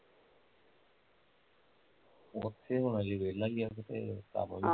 ਓਥੇ ਹੁਣ ਹਲੇ ਵੇਹਲਾ ਈ ਕਿਤੇ ਕੰਮ ਵੀ ਹੈਨੀ ਆਹ